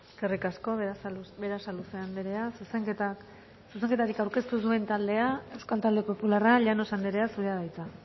eskerrik asko berasaluze anderea zuzenketarik aurkeztu ez duen taldea euskal talde popularra llanos anderea zurea da hitza